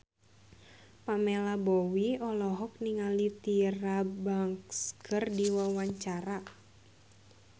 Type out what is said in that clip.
Pamela Bowie olohok ningali Tyra Banks keur diwawancara